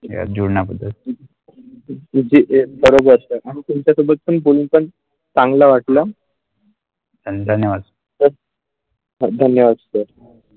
जुना कुठे अगदी बरोबर असतात आणि तुमचा सोबत पण बोलून पण चांगला वाटला आणि धन्यवाद Okay धन्यवाद sir.